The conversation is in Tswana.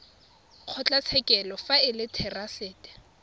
kgotlatshekelo fa e le therasete